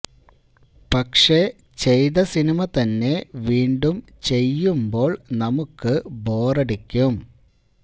പക്ഷെ ചെയ്ത സിനിമ തന്നെ വീണ്ടും ചെയ്യുമ്പോള് നമുക്ക് ബോറടിക്കും